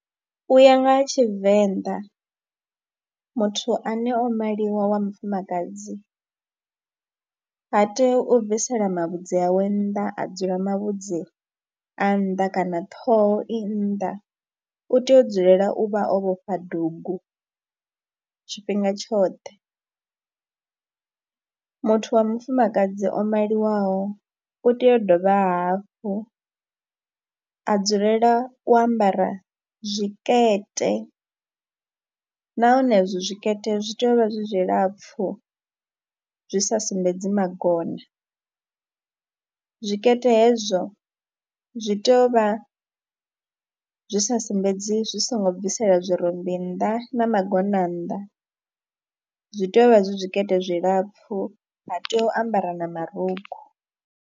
U ya nga ha Tshivenḓa muthu ane o maliwa wa mufumakadzi ha tei u bvisela mavhudzi awe nnḓa, a dzula mavhudzi a nnḓa kana ṱhoho i nnḓa, u tea u dzulela u vha o vhofha dugu tshifhinga tshoṱhe. Muthu wa mufumakadzi o maliwaho u tea u dovha hafhu a dzulela u ambara zwikete nahone izwo zwikete zwi tea u vha zwi zwilapfhu, zwi sa sumbedzi magona, zwikete hezwo zwi tea u vha zwi sa sumbedzi zwi songo bvisela zwirumbi nnḓa na magona nnḓa, zwi tea u vha zwi zwikete zwilapfhu, ha tei u ambara na marukhu.